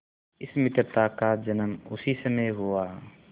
इस मित्रता का जन्म उसी समय हुआ